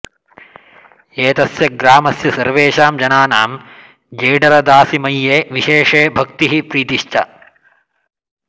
एतस्य ग्रामस्य सर्वेषां जनानां जेडरदासिमय्ये विशेषे भक्तिः प्रीतिश्र्च